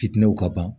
Fitinɛw ka ban